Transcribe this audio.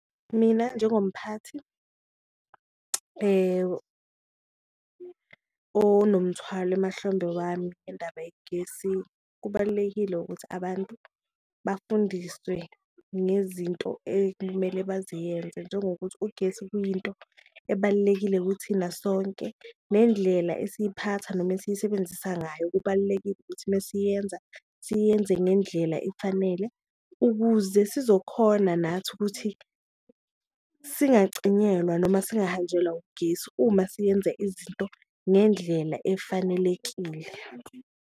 Mina njengomphathi onomthwalo emahlombe wami ngendaba yegesi, kubalulekile ukuthi abantu bafundiswe ngezinto ekumele baziyenze, njengokuthi ugesi kuyinto ebalulekile kuthina sonke nendlela esiziphatha noma esiyisebenzisa ngayo. Kubalulekile ukuthi mesiyenza siyenze ngendlela efanele, ukuze sizokhona nathi ukuthi singacinyelwa noma singahanjelwa ugesi uma siyenze izinto ngendlela efanelekile.